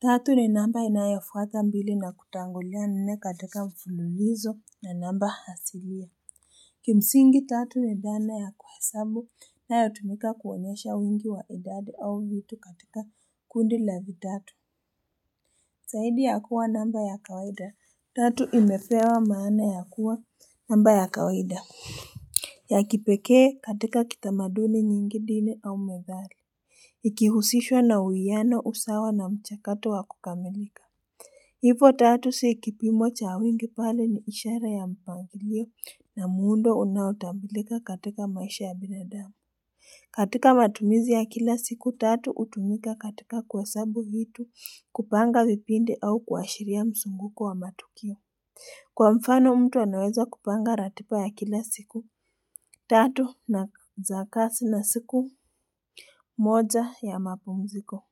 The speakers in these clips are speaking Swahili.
Tatu ni namba inayofuata mbili na kutangulia nne katika mfululizo ya namba asilia Kimsingi tatu ni dhana ya kuhesabu inayotumika kuonyesha wingi wa idadi au vitu katika kundi la vitatu Zaidi ya kuwa namba ya kawaida tatu imepewa maana ya kuwa namba ya kawaida ya kipekee katika kitamaduni nyingi dini au methali Ikihusishwa na uwiano usawa na mchakato wa kukamilika Hivyo tatu si kipimo cha wingi bali ni ishara ya mpangilio na muundo unaotambulika katika maisha ya binadamu. Katika matumizi ya kila siku tatu hutumika katika kuhesabu vitu kupanga vipindi au kuashiria mzunguko wa matukio. Kwa mfano mtu anaweza kupanga ratiba ya kila siku tatu na za kasi na siku moja ya mapumziko.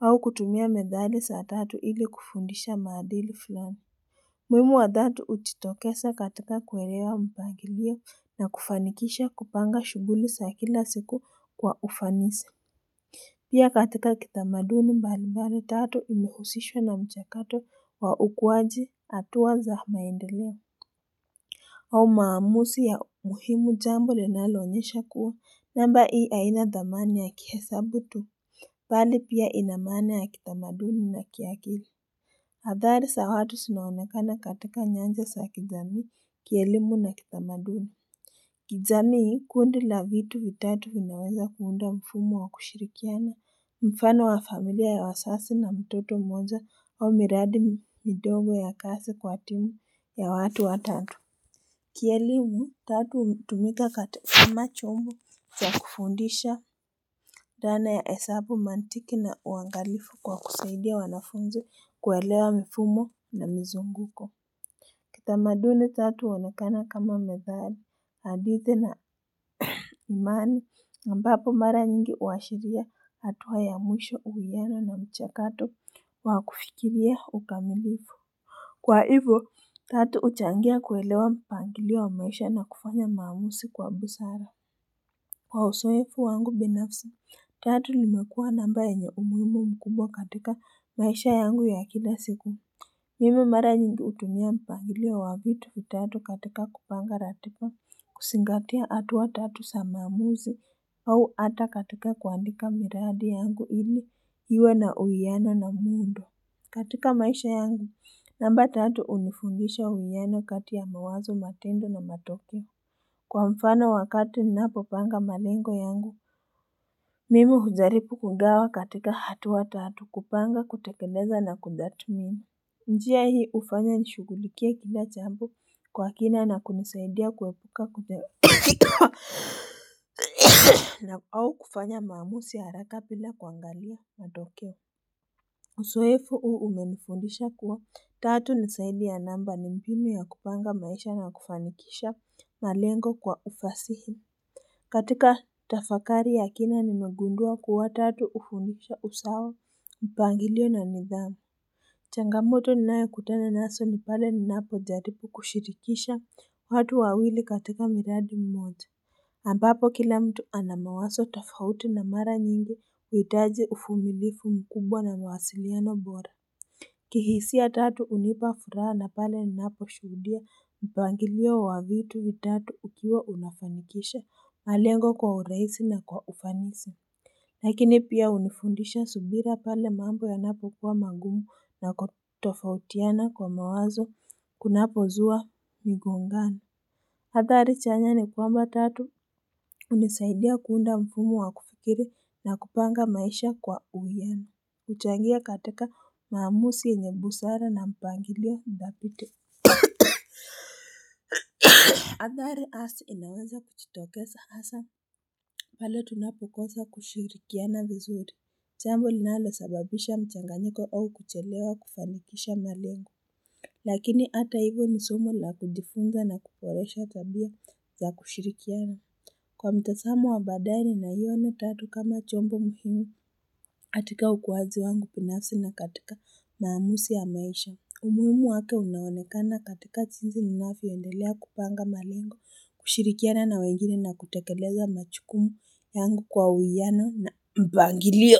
Au kutumia methali za tatu ili kufundisha maadili fulani. Umuhimu wa tatu hujitokeza katika kuelewa mpangilio na kufanikisha kupanga shughuli za kila siku kwa ufanisi Pia katika kitamaduni mbalimbali tatu imehusishwa na mchakato wa ukuaji hatua za maendeleo au maamuzi ya muhimu jambo linaloonyesha kuwa namba hii haina dhamani ya kihesabu tu bali pia ina maana ya kitamaduni na kiakili Athari za watu zinaonekana katika nyanja za kijamii kielimu na kitamaduni. Kijamii kundi la vitu mitatu vinaweza kuunda mfumo wa kushirikiana Mfano wa familia ya wazazi na mtoto mmoja au miradi midogo ya kazi kwa timu ya watu watatu Kielimu tatu hutumika katika kama chombo za kufundisha dhana ya hesabu mantiki na uangalifu kwa kusaidia wanafunzi kuelewa mifumo na mizunguko Kitamaduni tatu huonekana kama methali, hadithi na imani, ambapo mara nyingi huashiria hatua ya mwisho uwiano na mchakato wa kufikiria ukamilifu. Kwa hivyo, tatu huchangia kuelewa mpangilio wa maisha na kufanya maamuzi kwa busara. Kwa uzoefu wangu binafsi, tatu imekuwa namba yenye umuhimu mkubwa katika maisha yangu ya kila siku. Mimi mara nyingi hutumia mpangilio wa vitu vitatu katika kupanga ratiba kuzingatia hatua tatu za maamuzi au hata katika kuandika miradi yangu ili iwe na uwiano na muundo. Katika maisha yangu, namba tatu hunifundisha uwiano kati ya mawazo matendo na matokeo. Kwa mfano wakati ninapopanga malengo yangu, mimi hujaribu kugawa katika hatua tatu kupanga kutekeleza na kutathmini. Njia hii hufanya nishughulikie kila jambo kwa kina na kunisaidia kuepuka na au kufanya maamuzi haraka bila kuangalia matokeo Uzoefu huu umenifundisha kuwa tatu ni zaidi ya namba ni mbinu ya kupanga maisha na kufanikisha malengo kwa ufasihi katika tafakari ya kina nimegundua kuwa tatu hufundisha usawa mpangilio na nidhamu changamoto ninayokutana nazo ni pale ninapojaripu kushirikisha watu wawili katika miradi mmoja ambapo kila mtu ana mawazo tofauti na mara nyingi huhitaji uvumilivu mkubwa na mawasiliano bora kihisia tatu hunipa furaha na pale ninaposhuhudia mpangilio wa vitu vitatu ukiwa unafanikisha malengo kwa urahisi na kwa ufanisi Lakini pia hunifundisha subira pale mambo yanapokuwa magumu na kutofautiana kwa mawazo kunapozua migongano Athari chanya ni kwamba tatu hunisaidia kuunda mfumo wa kufikiri na kupanga maisha kwa uwiano huchangia katika maamuzi yenye busara na mpangilio thabiti Athari asi inaweza kujitokeza hasa pale tunapokosa kushirikiana vizuri jambo linalosababisha mchanganyiko au kuchelewa kufanikisha malengo lakini hata hivyo ni somo la kujifunza na kuboresha tabia za kushirikiana kwa mtazamo wa baadaye naiona tatu kama chombo muhimu katika ukuaji wangu binafsi na katika maamuzi ya maisha umuhimu wake unaonekana katika jinsi ninavyoendelea kupanga malengo kushirikiana na wengine na kutekeleza majukumu yangu kwa uwiano na mpangilio.